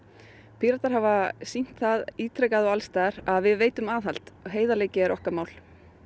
Píratar hafa sýnt það ítrekað og alls staðar að við veitum aðhald og heiðarleiki er okkar mál